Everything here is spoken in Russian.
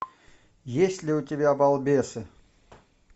есть ли у тебя балбесы